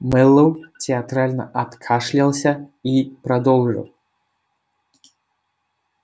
мэллоу театрально откашлялся и продолжил